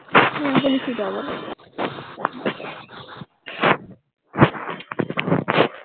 হম বলছি তো অব্বসই